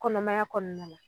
Kɔnɔmaya kɔɔna la